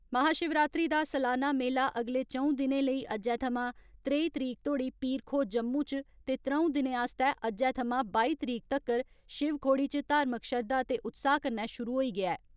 महाशिवरात्री दा सलाना मेला अगले चंऊ दिनें लेई अज्जै थमां त्रेई तरीक धोड़ी पीर खोह् जम्मू च ते त्र'ऊं दिनें आस्तै अज्जै थमां बाई तरीक तकर शिवखोड़ी च धार्मिक श्रद्धा ते उत्साह कन्नै शुरु होई गेआ ऐ।